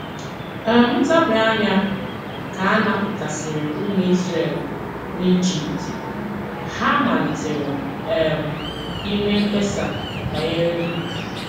um Ntabi anya ka a napụtasịrị ụmụ Izrel n’Ijipt, ha malitere um ime mkpesa banyere nri.